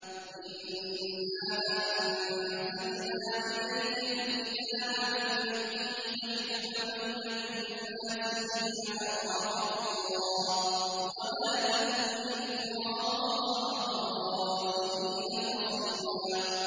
إِنَّا أَنزَلْنَا إِلَيْكَ الْكِتَابَ بِالْحَقِّ لِتَحْكُمَ بَيْنَ النَّاسِ بِمَا أَرَاكَ اللَّهُ ۚ وَلَا تَكُن لِّلْخَائِنِينَ خَصِيمًا